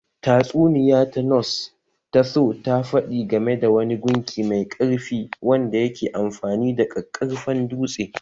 Tatsuniya ta Norse ta Thor ta faɗi game da wani gunki mai ƙarfi wanda yake amfani da ƙaƙƙarfan dutse